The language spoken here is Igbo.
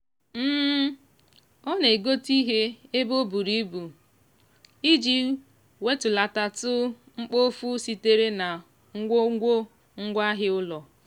ọ na-egote ihe ebe o buru ibu iji wetulatatụ mkpofu sitere na ngwongwo ngwaahịa ụlọ.